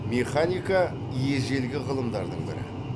механика ежелгі ғылымдардың бірі